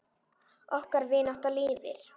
Okkar vinátta lifir.